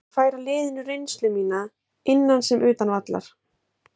Ég vil færa liðinu reynslu mína, innan sem utan vallar.